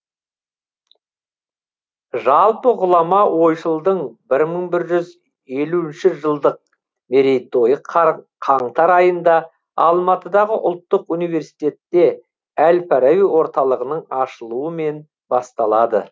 жалпы ғұлама ойшылдың бір мың бір жүз елуінші жылдық мерейтойы қар қаңтар айында алматыдағы ұлттық университетте әл фараби орталығының ашылуымен басталады